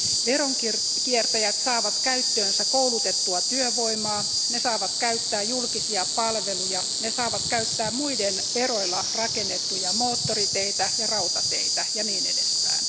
Veronkiertäjät saavat käyttöönsä koulutettua työvoimaa, ne saavat käyttää julkisia palveluja, ne saavat käyttää muiden veroilla rakennettuja moottoriteitä ja rautateitä ja niin edespäin.